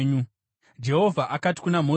Jehovha akati kuna Mozisi,